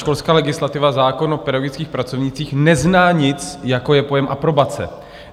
Školská legislativa, zákon o pedagogických pracovnících, nezná nic, jako je pojem aprobace.